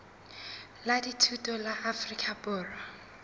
la dithuto la afrika borwa